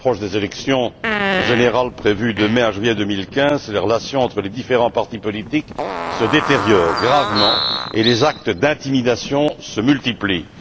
À l'approche des élections générales prévues de mai à juillet 2015, les relations entre les différents partis politiques se détériorent gravement et les actes d'intimidation se multiplient.